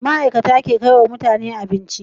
ma'ikata ke kaiwa mutane abinci